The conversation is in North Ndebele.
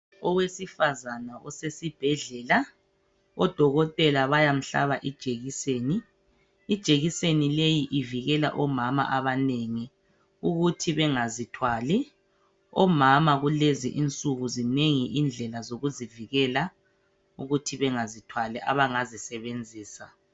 Owesifazana osesibhedlela odokotela bayamhlaba ijekiseni ijekiseni leyi ivikele omama abanengi ukuthi bengazithwali omama kulezi insuku zinengi indlela zokuzivikela ukuthi bengazithwali abangazisebenzisa.